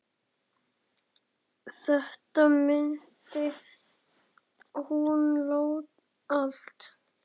Þetta mundi hún allt.